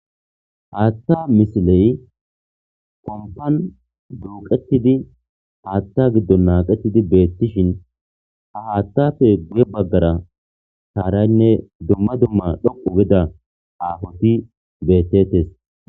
Hathay misiley pompano duuqetidi haatha gido naqetidi beyishin ha haathappe guye bagara sharaynne duma duma dhoqu gida zumati beetetes.